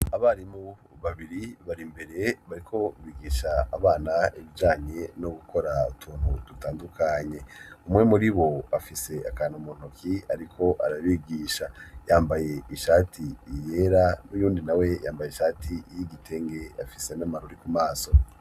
Abarimu babiri bari imbere bariko bigisha abana ibijanye no gukora utuntu dutandukanye. Umwe muri bo afise akantu muntoki ariko arabigisha yambaye ishati iyera, uyundi nawe yambaye ishati y'igitenge afise n'amarori ku maso.